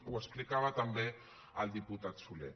ho explicava també el diputat solé